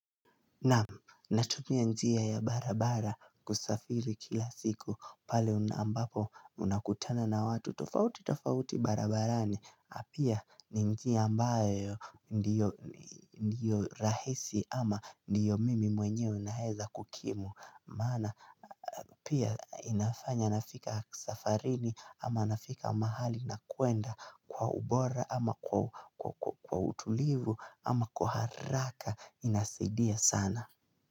Naam natumia njia ya barabara kusafiri kila siku pale ambapo unakutana na watu tofauti tofauti barabarani pia ni njia ambayo ndiyo rahisi ama ndiyo mimi mwenyewe naweza kukimu maana pia inafanya nafika safarini ama nafika mahali nakwenda kwa ubora ama kwa utulivu ama kwa haraka inasaidia sana.